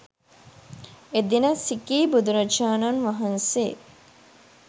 එදින සිඛී බුදුරජාණන් වහන්සේ